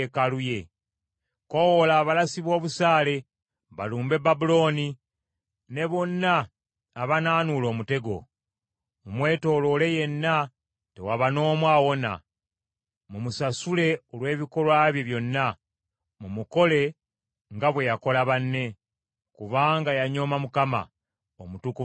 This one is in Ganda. “Koowoola abalasi b’obusaale balumbe Babulooni, ne bonna abanaanuula omutego. Mumwetooloole yenna; tewaba n’omu awona. Mumusasule olw’ebikolwa bye byonna; mumukole nga bwe yakola banne. Kubanga yanyooma Mukama , Omutukuvu wa Isirayiri.